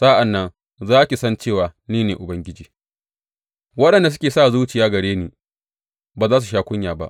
Sa’an nan za ki san cewa ni ne Ubangiji; waɗanda suke sa zuciya gare ni ba za su sha kunya ba.